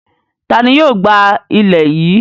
Ta ni yóò gbá ilẹ̀ yìí?